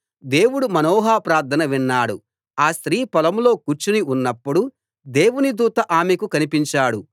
దేవుడు మనోహ ప్రార్థన విన్నాడు ఆ స్త్రీ పొలంలో కూర్చుని ఉన్నప్పుడు దేవుని దూత ఆమెకు కన్పించాడు